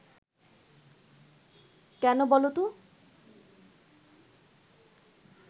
কেন বলো তো